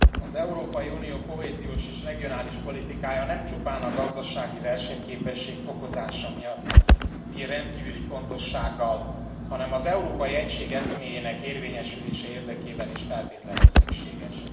Az Európai Unió kohéziós és regionális politikája nem csupán a gazdasági versenyképesség fokozása miatt bír rendkívüli fontossággal, hanem az európai egység eszméjének érvényesülése érdekében is feltétlenül szükséges.